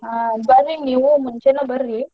ಹಾ ಬರ್ರಿ ನೀವೂ ಮುಂಚೆನೆ ಬರ್ರಿ.